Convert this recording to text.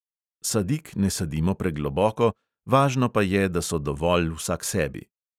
Sadik ne sadimo pregloboko, važno pa je, da so dovolj vsaksebi.